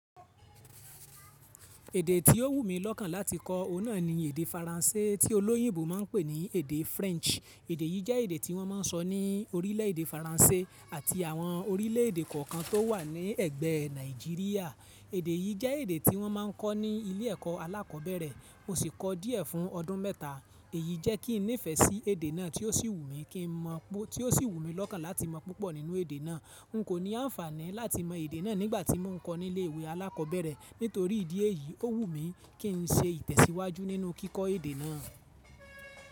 Tó wù mí lọ́kàn láti kọ́ òhun náà ni èdè faranse tí olóyìnbó ńpè ní èdè Jiria, èdè yì jẹ èdè ti wọ́n máa nkọ́ ni ilé ẹ̀kó alákọ̀ọ́bẹ̀rẹ̀ mo ṣì kọ́ọ díẹ̀ fún ọdún mẹ́ta èyí jẹ kín nífé si èdè náà tí ó sì wù mí kí n mo tí ó sì wù mí lọ́kàn láti mọ púpọ̀ nínú èdè náà n kò ní anfaani láti mo èdè náà nìgbà ti mo n kòo nilé ìwé alakobere nítòrí ìdí èyí o wù mí kí n ṣe itesiwaju ninu kiko èdè náà.